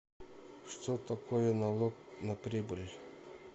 что такое налог на прибыль